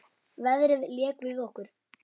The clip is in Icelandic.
Veðrið lék við okkur.